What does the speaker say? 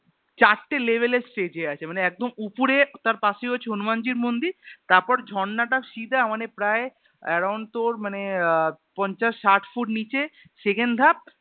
চারটে Level এর Stage এ আছে মানে একদম উপরে তার পাশে হচ্ছে হনুমান জির মন্দির তারপর ঝর্ণাটা সিদা মানে প্রায় Around তোর মানে আহ পঞ্চাশ ষাট foot নিচে Second ধাপ